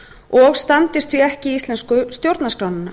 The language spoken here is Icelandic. og standist því ekki íslensku stjórnarskrána